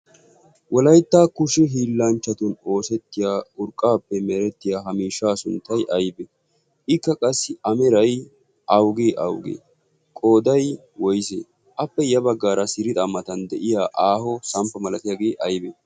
wolayttaa kushi hiillanchchatun oosettiya urqqaappe merettiya hamiishshaa sunttay aybi ikka qassi ameray augi augii qooday woyse appe ya baggaara sirixaammatan de'iya aaho samppa malatiyaagee aybi